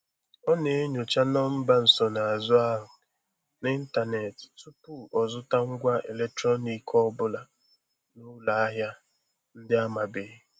Ọ na-enyocha nọmba nsonazụ ahụ n'ịntanetị tupu ọzụta ngwa eletrọnik ọ bụla n'ụlọ ahịa ndị amabeghị.